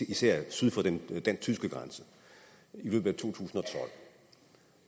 især syd for den tyske grænse i løbet